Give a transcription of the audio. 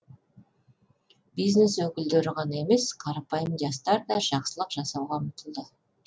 бизнес өкілдері ғана емес қарапайым жастар да жақсылық жасауға ұмтылды